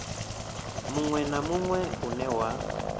munwe na munwe une wa